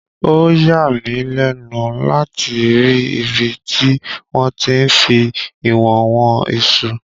Ó yàmí lẹ́nu láti rí ibi tí wọ́n ti ń fí ìwọ̀n wọn iṣu.